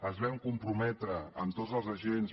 ens vam comprometre amb tots els agents